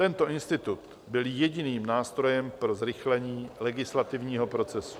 Tento institut byl jediným nástrojem pro zrychlení legislativního procesu.